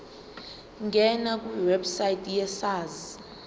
ngena kwiwebsite yesars